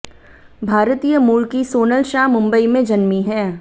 भारतीय मूल की सोनल शाह मुंबई में जन्मी हैं